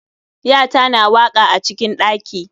yata na waka acikin ɗaki